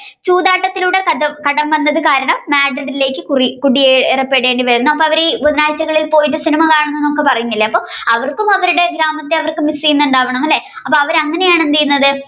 ചൂതാട്ടത്തിലൂടെ കടം വന്നത് കാരണം Madrid ലേക്ക് കുറി~കുടിയേറപ്പെടേണ്ടിവരുന്ന അപ്പൊ അവർ ഈ ബുധനാഴ്ചകളിൽ പോയി സിനിമകാണുമെന്ന് പറയുന്നില്ലേ അപ്പൊ അവർക്കും അവരുടെ ഗ്രാമത്തെ miss ചെയ്യുന്നുണ്ടാവണം അല്ലെ അപ്പൊ അവർ അങ്ങനെയാണ് എന്തെയുന്നത്